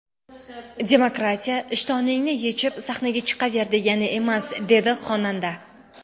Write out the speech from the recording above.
Demokratiya ishtoningni yechib, sahnaga chiqaver, degani emas”, dedi xonanda.